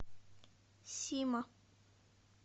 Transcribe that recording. сима